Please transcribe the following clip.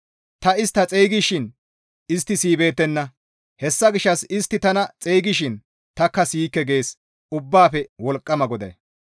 ‹Ta istta xeygishin istta siyibeettenna; hessa gishshas istti tana xeygishin tanikka siyikke› gees Ubbaafe Wolqqama GODAY.